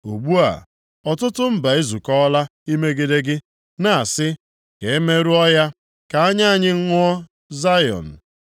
Ugbu a, ọtụtụ mba ezukọọla imegide gị; na-asị, “Ka e merụọ ya ka anya anyị ṅụọ Zayọn.”